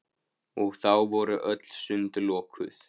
Og þá voru öll sund lokuð!